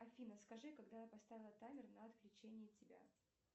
афина скажи когда я поставила таймер на отключение тебя